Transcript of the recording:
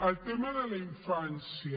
el tema de la infància